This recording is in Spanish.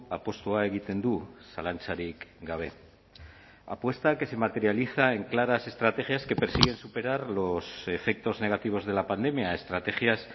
apustua egiten du zalantzarik gabe apuesta que se materializa en claras estrategias que persiguen superar los efectos negativos de la pandemia estrategias